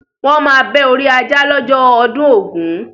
Wọ́n máa bẹ́ orí ajá lọ́jọ́ ọdún ògún.